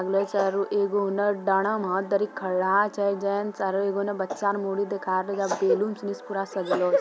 एगो उना डरा में हाथ धरी के खड़ा छै जेंट्स आर उने एगो बच्चा मुंडी देखा रहल छै बैलून से पूरा सजलों छै।